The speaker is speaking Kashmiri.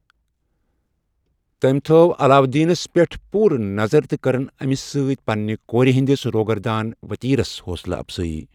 تٔمۍ تھٲو علاوالدینس پٮ۪ٹھ پوٗرٕ نظر تہٕ کٔرٕن امِس سۭتۍ پنٛنہٕ کورِ ہنٛدس روغردان وتیرس حوصلہٕ اَفزٲیی۔